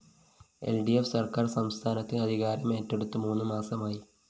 ൽ D F സര്‍ക്കാര്‍ സംസ്ഥാനത്ത് അധികാരമേറ്റെടുത്ത് മൂന്ന് മാസമായി